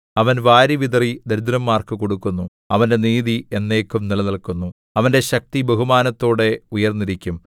അവൻ വാരിവിതറി ദരിദ്രന്മാർക്ക് കൊടുക്കുന്നു അവന്റെ നീതി എന്നേക്കും നിലനില്ക്കുന്നു അവന്റെ ശക്തി ബഹുമാനത്തോടെ ഉയർന്നിരിക്കും